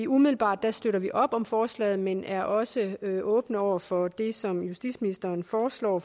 umiddelbart støtter vi op om forslaget men vi er også åbne over for det som justitsministeren foreslår